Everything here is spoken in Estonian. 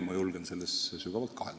Ma julgen selles siiski sügavalt kahelda.